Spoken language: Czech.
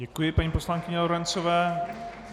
Děkuji paní poslankyni Lorencové.